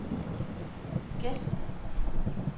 Gesten